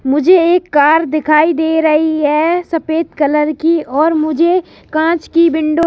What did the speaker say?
मुझे एक कार दिखाई दे रही है सफेद कलर की और मुझे कांच की विंडो --